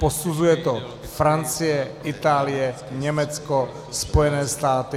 Posuzuje to Francie, Itálie, Německo, Spojené státy.